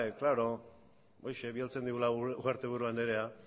klaro horixe bidaltzen digula ugarteburu andrea